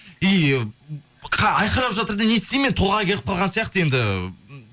и айқалап жатыр да не істеймін мен толғағы келіп қалған сияқты